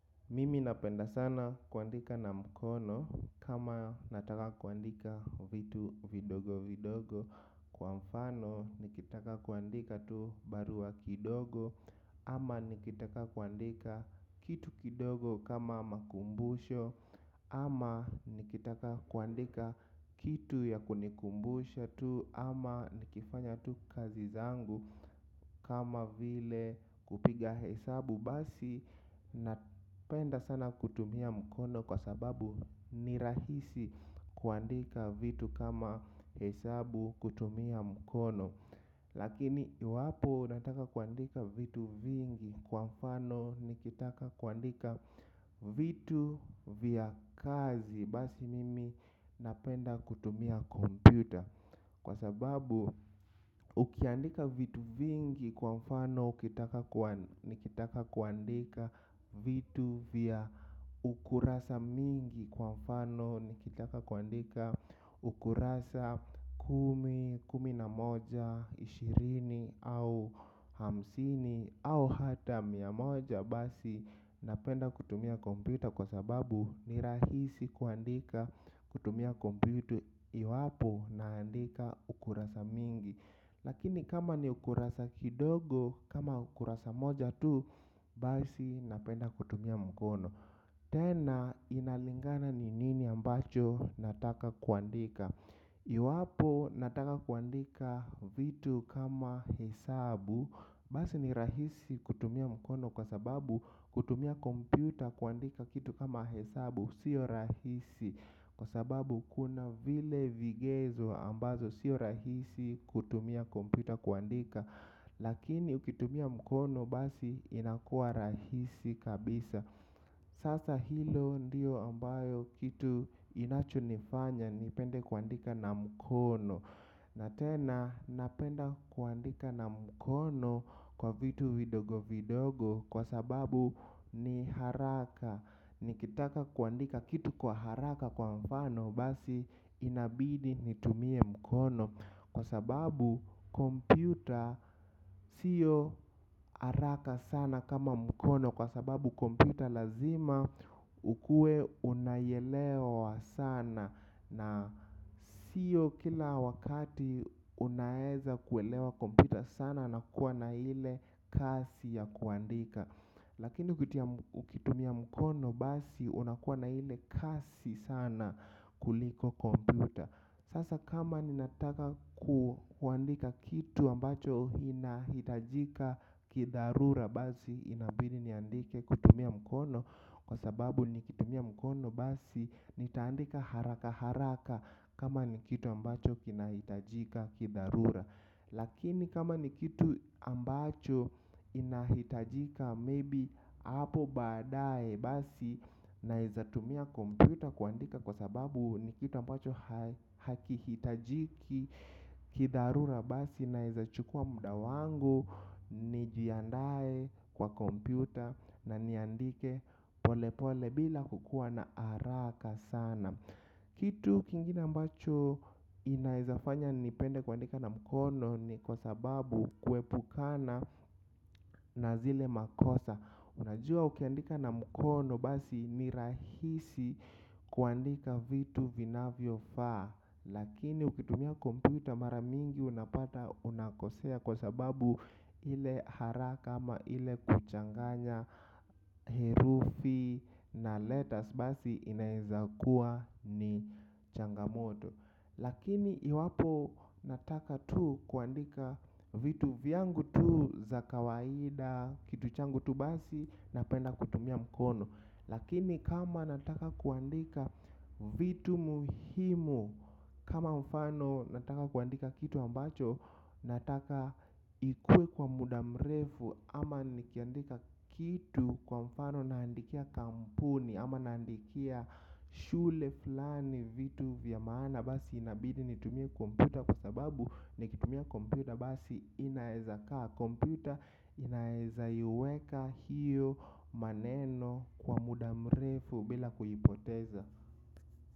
Mimi napenda sana kuandika na mkono kama nataka kuandika vitu vidogo vidogo. Kwa mfano nikitaka kuandika tu barua kidogo. Ama nikitaka kuandika kitu kidogo kama makumbusho. Ama nikitaka kuandika kitu ya kunikumbusha tu. Ama nikifanya tu kazi zangu kama vile kupiga hesabu. Basi napenda sana kutumia mkono kwa sababu ni rahisi kuandika vitu kama hesabu kutumia mkono. Lakini iwapo nataka kuandika vitu vingi kwa mfano ni kitaka kuandika vitu vya kazi. Basi mimi napenda kutumia kompyuta. Kwa sababu ukiandika vitu vingi kwa mfano ni kitaka kuandika vitu vya ukurasa mingi kwa mfano ni kitaka kuandika ukurasa kumi, kumi na moja, ishirini au hamsini au hata mia moja basi. Napenda kutumia kompyuta kwa sababu ni rahisi kuandika kutumia kompyuta. Iwapo naandika ukurasa mingi. Lakini kama ni ukurasa kidogo kama ukurasa moja tu. Basi napenda kutumia mkono tena inalingana ni nini ambacho nataka kuandika. Iwapo nataka kuandika vitu kama hesabu. Basi ni rahisi kutumia mkono kwa sababu kutumia kompyuta kuandika kitu kama hesabu. Sio rahisi kwa sababu kuna vile vigezo ambazo sio rahisi kutumia kompyuta kuandika. Lakini ukitumia mkono basi inakua rahisi kabisa. Sasa hilo ndio ambayo kitu inacho nifanya nipende kuandika na mkono. Na tena napenda kuandika na mkono kwa vitu vidogo vidogo kwa sababu ni haraka. Nikitaka kuandika kitu kwa haraka kwa mfano basi inabidi nitumie mkono. Kwa sababu kompyuta sio haraka sana kama mkono kwa sababu kompyuta lazima ukuwe unaielewa sana. Na sio kila wakati unaweza kuelewa kompyuta sana na kuwa na ile kasi ya kuandika. Lakini ukitumia mkono basi unakuwa na ile kasi sana kuliko kompyuta. Sasa kama ninataka kuandika kitu ambacho ina hitajika kidharura basi inabidi niandike kutumia mkono. Kwa sababu nikitumia mkono basi nitaandika haraka haraka kama nikitu ambacho kinahitajika kidharura. Lakini kama nikitu ambacho inahitajika maybe hapo baadaye basi nawezatumia kompyuta kuandika. Kwa sababu nikitu ambacho hakihitajiki kidharura basi na ezachukua mudawangu. Nijiandaye kwa kompyuta na niandike polepole bila kukuwa na haraka sana. Kitu kingina ambacho inaezafanya nipende kuandika na mkono ni kwa sababu kuepukana na zile makosa. Unajua ukiandika na mkono basi ni rahisi kuandika vitu vinavyofaa. Lakini ukitumia kompyuta mara mingi unapata unakosea kwa sababu ile haraka ama ile kuchanganya herufi na letters basi inaeza kuwa ni changamoto. Lakini iwapo nataka tu kuandika vitu vyangu tu za kawaida kitu changu tu basi na penda kutumia mkono. Lakini kama nataka kuandika vitu muhimu. Kama mfano nataka kuandika kitu ambacho nataka ikuwe kwa muda mrefu. Ama nikiandika kitu kwa mfano naandikia kampuni. Ama naandikia shule fulani vitu vya maana. Basi inabidi nitumie kompyuta kwa sababu nikitumia kompyuta basi inaezakaa kompyuta inaweza iweka hiyo maneno kwa mudamrefu bila kuipoteza.